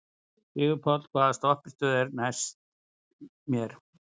Sigurpáll, hvaða stoppistöð er næst mér?